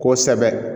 Kosɛbɛ